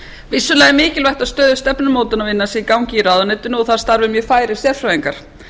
vissulega er mikilvægt að stöðug stefnumótunarvinna sé í gangi í ráðuneytinu og að þar starfi mjög færir sérfræðingar